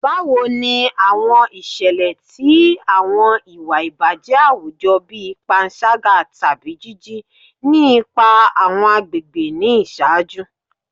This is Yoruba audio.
Bawo ni awọn iṣẹlẹ ti awọn iwa ibajẹ awujọ bii panṣaga tabi jiji ni ipa awọn agbegbe ni iṣaaju?